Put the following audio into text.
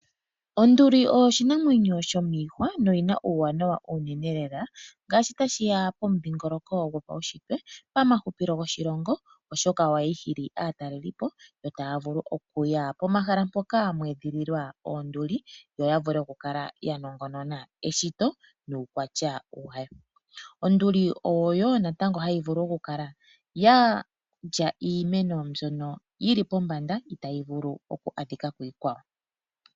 Onduli oyo oshinamwenyo shomiihwa noyi na uuwanawa uunene lela ngaashi tashi ya pomudhingoloko gopaushitwe, pamahupilo goshilongo, oshoka ohayi hili aatalelipo yo taya vulu okuya pomahala mpoka mwe edhililwa oonduli yo ya vule okukala ya nongonona eshito nuukwatya wayo. Onduli oyo wo natango hayi vulu okukala ya lya iimeno mbyono yi li pombanda itayi vulu okukala ya adhika kiikwawo.